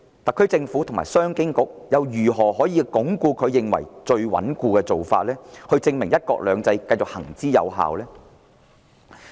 特區政府和商務及經濟發展局如何以最穩固的做法，證明"一國兩制"繼續行之有效？